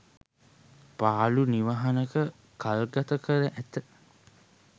පාළු නිවහනක කල්ගත කර ඇත